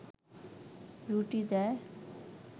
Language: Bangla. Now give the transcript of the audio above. রুটি দেয়